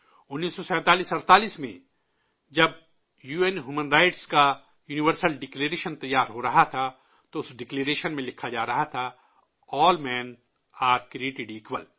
481947 میں جب U N human rights کا یونیورسل ڈکلریشن تیار ہو رہا تھا تو اس ڈکلریشن میں لکھا جا رہا تھا کہ ''تمام مردوں کو یکساں بنایا گیا ہے''